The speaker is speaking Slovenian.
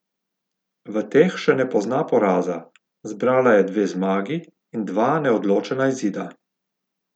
V teh še ne pozna poraza, zbrala je dve zmagi in dva neodločena izida.